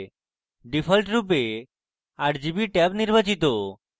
ডিফল্টরূপে rgb tab নির্বাচিত